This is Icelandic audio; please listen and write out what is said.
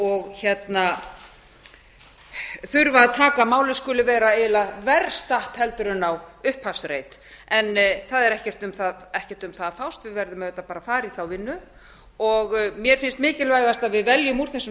og þurfa að taka að málið skuli vera eiginlega verr statt en á upphafsreit en það er ekkert um það að fást við verðum auðvitað bara að fara í þá vinnu mér finnst mikilvægast að við veljum úr þessum